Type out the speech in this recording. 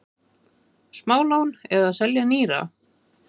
Smálán eða selja nýra?